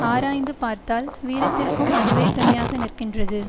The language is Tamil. ஆராய்ந்து பார்த்தால் வீரத்திற்க்கும் அதுவே துணையாக நிற்கின்றது